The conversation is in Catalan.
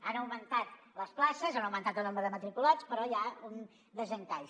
han augmentat les places ha augmentat el nombre de matriculats però hi ha un desencaix